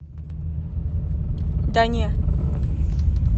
да не